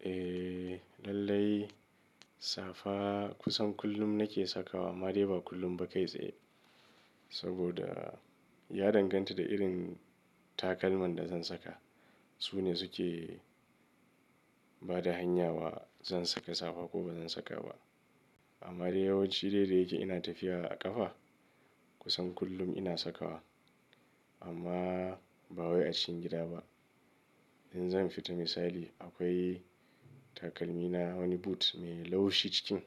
Eh lallai safa kusan kullum nake sakawa amma dai ba kullum ba kai tsaye saboda ya danganta da irin takalman da zan saka. Su ne suke ba da hanya wa zan saka safa ko bazan saka ba. Amma dai yawanci daidai yake ina tafiya a ƙafa kusan kullum ina sakawa amma ba wai a cikin gida ba. In zan fita misali akwai takalmi na wani boot mai laushi cikin.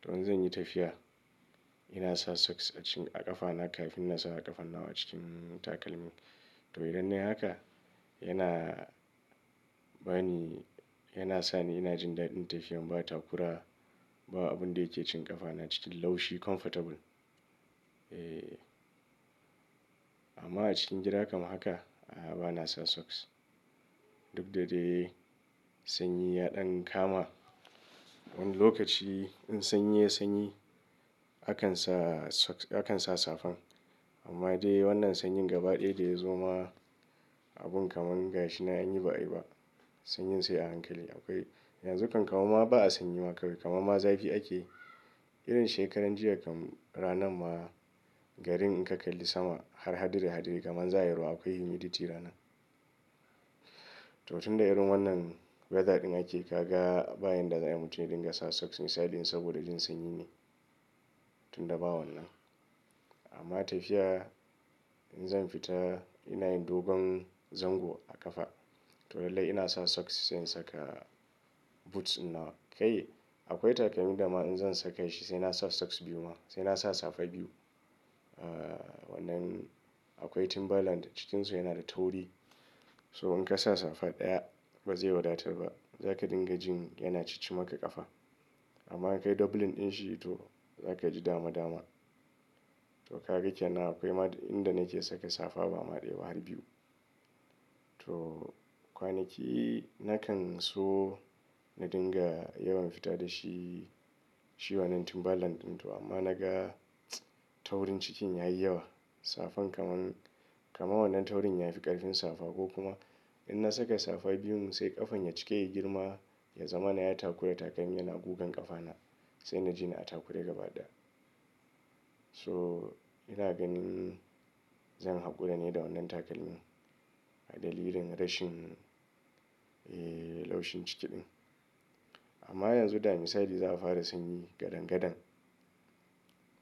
To in zan yi tafiya ina sa socks a ƙafa na kafin na sa a ƙafan nawa cikin takalmin. To idan nayi haka yana bani, yana sani ina jin daɗin tafiyan ba takura ba abun da yake cin ƙafa na cikin laushi comfortable. Eh amma a cikin gida kam haka a bana sa socks duk da dai sanyi ya ɗan kama. Wani lokaci in sanyi ya sanyi akan sa socks akan sa safan amma dai wannan sanyin gaba ɗaya da ya zo ma abun kamar gashi na an yi ba'a yi ba. Sanyin sai a hankali akwai yanzu kan kama ma ba a sanyi ma kamar ma zafi ake irin shekaran jiya kan ranan ma garin in ka kalli sama har hadire hadire kamar za'a yi ruwa akwai humidity rana. To tun da irin wannan weather ɗin ake ka ga bayan da za'a yi mutan ya dinga sa socks misali in saboda jin sanyi ne tun da ba wannan. Amma tafiya in zan fita ina yin dogon zango a ƙafa to lallai ina sa socks sai in saka boots nawa. Kai akwai takalmi da ma in zan saka shi sai na sa socks biyu ma sai na sa safa biyu. Ah wannan akwai Timberland cikinsu yana da tauri. To in ka sa safa ɗaya bazai wadatar ba za ka dinga jin yana ciccima ka ƙafa. Amma in ka yi doubling din shi to za ka ji dama dama. To gaka kenan akwai ma inda nake saka safa ba ma ɗaya ba har biyu. To kwanaki na kan so na dinga yawan fita da shi shi wannan Timberland ɗin to amma naga taurin cikin yayi yawa. Safan kamar, kamar wannan taurin yafi ƙarfin safa ko kuma in na saka safa biyun sai ƙafan ya cika ya girma ya zama na yayi takura takalmin yana gugan ƙafa na sai na ji ni a takura gaba ɗaya. To ina ganin zan haƙura ne da wannan takalmin a dalilin rashin eh laushin ciki ɗin. Amma yanzu da misali za'a fara sanyi gadangadan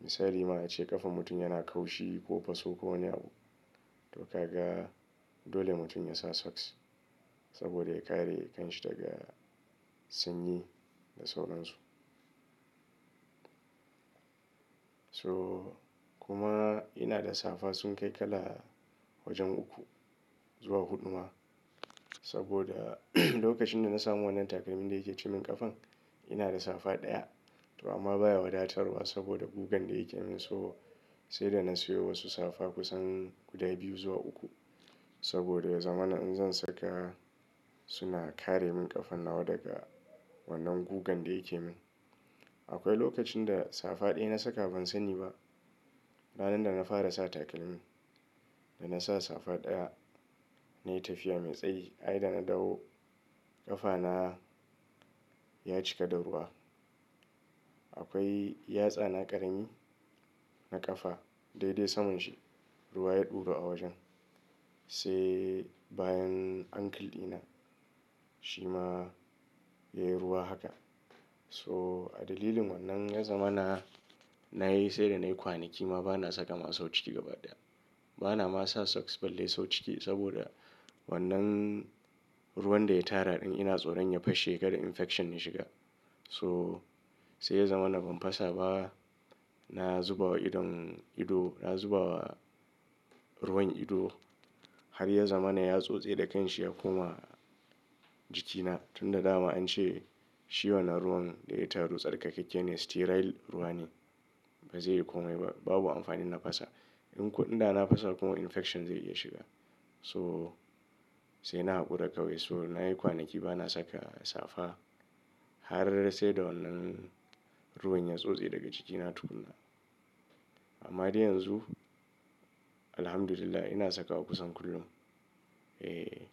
misali ma a ce ƙafan mutum yana kaushi ko faso ko wani abu to ka ga dole mutum ya sa socks saboda ya kare kan shi daga sanyi da sauransu. To kuma ina da safa sun kai kala wajen uku zuwa huɗu ma saboda lokacin da na samu wannan takalmin da yake cin min ƙafan ina da safa ɗaya to amma baya wadatarwa saboda gugan da yake min so sai da na siyo wasu safa kusan guda biyu zuwa uku saboda ya zama na in zan saka suna kare min ƙafan nawa daga wannan gugan da yake min. Akwai lokacin da safa ɗaya na saka ban sanyi ba. Ranar da na fara sa takalmin da na sa safa ɗaya nayi tafiya mai tsayi ai da na dawo ƙafa na ya cika da ruwa. Akwai yatsa na ƙarami na ƙafa dai dai saman shi ruwa ya ɗuru a wajen. Sai bayan ankle ɗina shi ma yayi ruwa haka. To a dalilin wannan ya zama na, na yi sai da nayi kwanaki ma bana saka masa wanci gaba ɗaya. Bana ma sa socks balle sau ciki saboda wannan ruwan da ya tara ɗin ina tsoron ya fashe kada infection ya shiga. So sai ya zama na ban fasa ba na zuba wa idon ido na zuba wa ruwan ido har ya zama na ya tsotse da kanshi ya koma jikina tun da dama an ce shi wannan ruwan da ya taru tsarkakakke ne sterile ruwa ne bazai yi komai ba babu amfanin na fasa. In ko in da na fasa kuma infection zai iya shiga. To sai na haƙura kawai so nayi kwanaki bana saka safa har sai da wannan ruwan ya tsotse daga jiki na tukuna. Amma dai yanzu Alhamdulillah ina saka wa kusan kullum. Eh.